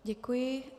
Děkuji.